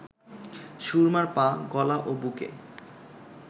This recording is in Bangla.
সুরমার পা, গলা ও বুকে